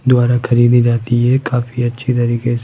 द्वारा खरीदी जाती है काफी अच्छी तरीके से--